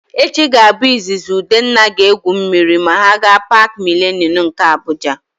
Echi ga-abụ izizi Udenna ga-egwu mmiri ma ha gaa Paakị Milenum nke Abuja.